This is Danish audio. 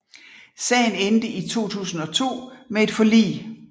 Sagen endte i 2002 med et forlig